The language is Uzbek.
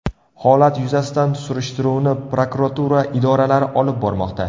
Holat yuzasidan surishtiruvni prokuratura idoralari olib bormoqda.